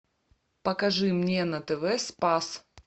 покажи мне на тв спас